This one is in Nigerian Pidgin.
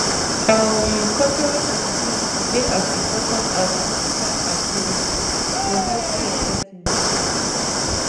um cultural sensitivity dey as important as clinical accuracy for healthcare settings